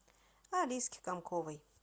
алиске комковой